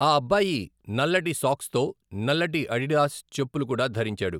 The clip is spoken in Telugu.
ఆ అబ్బాయి నల్లటి సాక్స్తో నల్లటి అడిడాస్ చెప్పులు కూడా ధరించాడు.